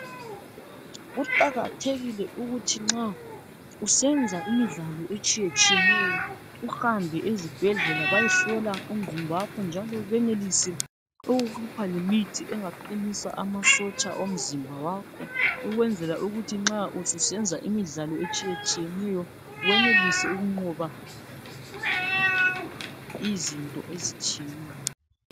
kuqakathekile ukuthi nxa uyenza imidlalo etsheyeneyo uhambe esibhedlela uyehlola umzimba wakho njalo benelise ukukupha lemithi engakuqinisa amasotsha omzimba wakho ukwenzela ukuthi nxa ususenza imidlalo etshiyetshiyeneyo uyenelise ukunqoba izinto ezitshiyeneyo